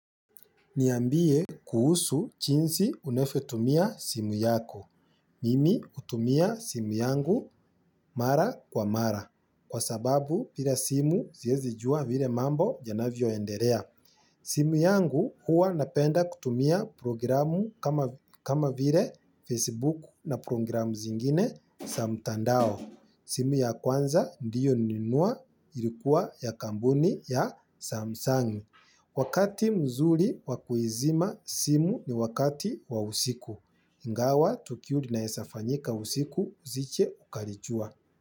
Niambie kuhusu chinsi unavyotumia simu yako. Mimi hutumia simu yangu mara kwa mara. Kwa sababu bira simu siezi jua vile mambo yanavyoenderea. Simu yangu huwa napenda kutumia programu kama vile Facebook na programu zingine sa mtandao. Simu ya kwanza ndiyo nilinunua ilikuwa ya kambuni ya Samsung, wakati mzuri wa kuizima simu ni wakati wa usiku. Ingawa, tukio linaesa fanyika usiku, isiche ukarichua.